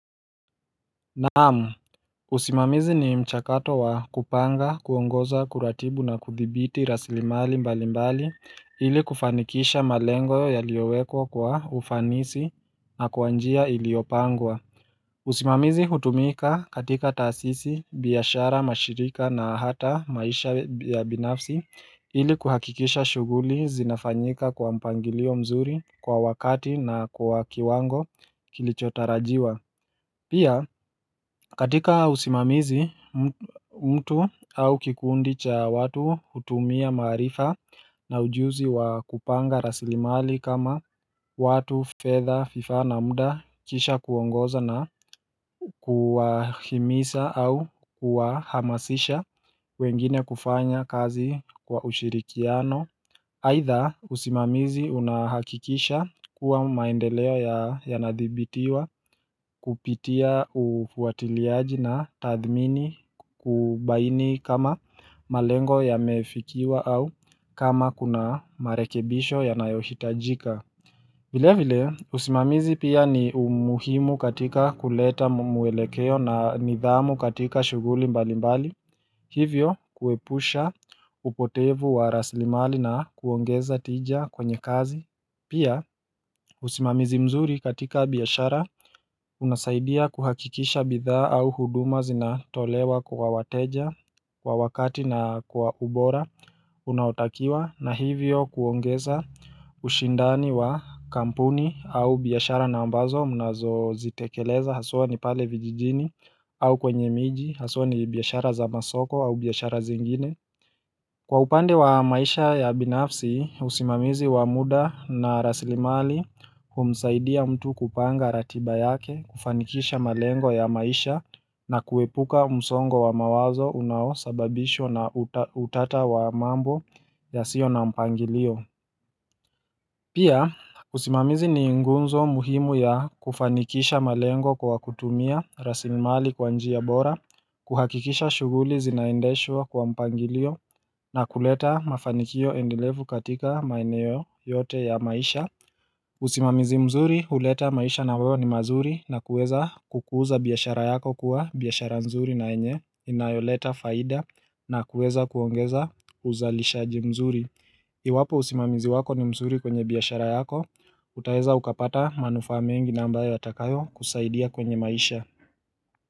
Naamu, usimamizi ni mchakato wa kupanga kuongoza kuratibu na kuthibiti raslimali mbali mbali ili kufanikisha malengo yaliowekwa kwa ufanisi na kwa njia iliopangwa usimamizi hutumika katika taasisi biashara mashirika na hata maisha ya binafsi ili kuhakikisha shuguli zinafanyika kwa mpangilio mzuri kwa wakati na kwa kiwango kilichotarajiwa Pia katika usimamizi mtu au kikundi cha watu hutumia maarifa na ujuzi wa kupanga rasilimali kama watu fedha fifaa na muda kisha kuongoza na kuwahimisa au kuwahamasisha wengine kufanya kazi kwa ushirikiano Aidha usimamizi unahakikisha kuwa maendeleo yanadhibitiwa kupitia ufuatiliaji na tadhmini kubaini kama malengo yamefikiwa au kama kuna marekebisho yanayo hitajika vile vile usimamizi pia ni umuhimu katika kuleta mwelekeo na nidhamu katika shuguli mbali mbali Hivyo kuepusha upotevu wa raslimali na kuongeza tija kwenye kazi Pia usimamizi mzuri katika biyashara unasaidia kuhakikisha bidhaa au huduma zinatolewa kwa wateja Kwa wakati na kwa ubora Unaotakiwa na hivyo kuongeza ushindani wa kampuni au biashara na ambazo mnazo zitekeleza haswa ni pale vijijini au kwenye miji haswa ni biashara za masoko au biashara zingine Kwa upande wa maisha ya binafsi usimamizi wa muda na raslimali humsaidia mtu kupanga ratiba yake kufanikisha malengo ya maisha na kuepuka msongo wa mawazo unao sababishwa na utata wa mambo yasio na mpangilio Pia usimamizi ni ngunzo muhimu ya kufanikisha malengo kwa kutumia raslimali kwa njia bora, kuhakikisha shuguli zinaendeshwa kwa mpangilio na kuleta mafanikio endelevu katika maeneo yote ya maisha usimamizi mzuri huleta maisha na wao ni mazuri na kueza kukuza biashara yako kuwa biashara mzuri na yenye inayoleta faida na kuweza kuongeza uzalishaji mzuri Iwapo usimamizi wako ni msuri kwenye biashara yako, utaeza ukapata manufaa mengi na ambayo yatakayo kusaidia kwenye maisha.